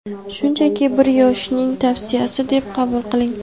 shunchaki bir yoshning tavsiyasi deb qabul qiling.